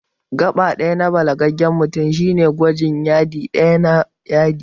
Gaɓa ɗaya na balagaggen mutum shine gwajin Yadi ɗaya na yadi